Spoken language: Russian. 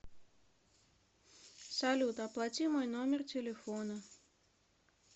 салют оплати мой номер телефона